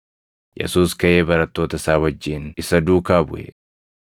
Yesuus kaʼee barattoota isaa wajjin isa duukaa buʼe.